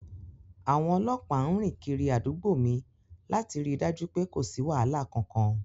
Àwọn ọlọ́pàá ń rìn kiri àdúgbò mi láti ri dájú pe kò sí wàhálà kankan.